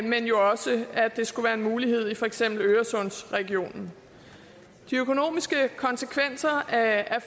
men jo også at det skulle være en mulighed i for eksempel øresundsregionen de økonomiske konsekvenser af